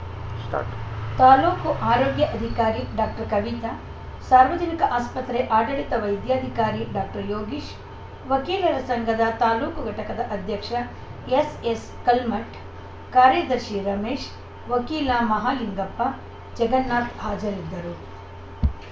start ತಾಲೂಕು ಆರೋಗ್ಯ ಅಧಿಕಾರಿ ಡಾಕ್ಟರ್ ಕವಿತಾ ಸಾರ್ವಜನಿಕ ಆಸ್ಪತ್ರೆ ಆಡಳಿತ ವೈದ್ಯಾಧಿಕಾರಿ ಡಾಕ್ಟರ್ ಯೋಗೀಶ್‌ ವಕೀಲರ ಸಂಘದ ತಾಲೂಕು ಘಟಕದ ಅಧ್ಯಕ್ಷ ಎಸ್‌ಎಸ್‌ ಕಲ್ಮಠ್‌ ಕಾರ್ಯದರ್ಶಿ ರಮೇಶ್‌ ವಕೀಲ ಮಹಲಿಂಗಪ್ಪ ಜಗನ್ನಾಥ್‌ ಹಾಜರಿದ್ದರು